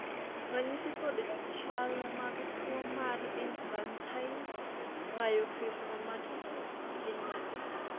ranyisi kod chal mag tuo mar Infantile myofibromatosis gin mage?